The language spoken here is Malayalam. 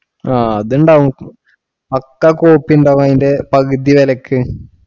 ആഹ് അതുണ്ടാവും പക്കാ copy ഉണ്ടാവും അതിന്റെ പകുതി വിലയ്ക്ക്